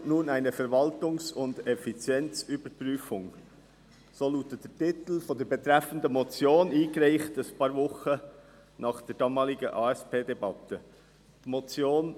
«Nach ASP nun eine Verwaltungs- und Effizienzüberprüfung», so lautet der Titel der betreffenden Motion die ein paar Wochen nach der damaligen ASPDebatte eingereicht wurde.